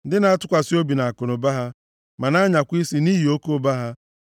ndị na-atụkwasị obi nʼakụnụba ha ma na-anyakwa isi nʼihi oke ụba ha.